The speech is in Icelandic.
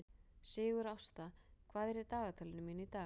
Sigurásta, hvað er á dagatalinu mínu í dag?